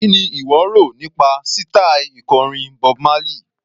Kí ni ìwọ rò nípa sítaì ikọrin Bob Marley?